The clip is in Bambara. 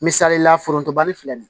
Misalila forontobali filɛ nin ye